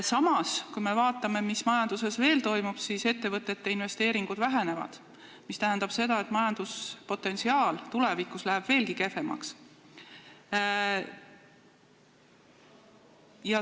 Samas, kui me vaatame, mis majanduses veel toimub, siis ettevõtete investeeringud vähenevad, mis tähendab seda, et majanduspotentsiaal läheb tulevikus veelgi kehvemaks.